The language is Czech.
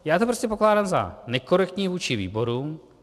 Já to prostě pokládám za nekorektní vůči výborům.